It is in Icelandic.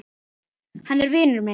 Hann er vinur minn